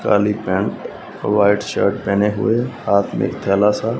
काली pant white shirt पहने हुए हाथ में थैला सा--